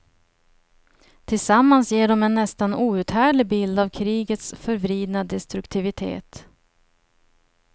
Tillsammans ger de en nästan outhärdlig bild av krigets förvridna destruktivitet.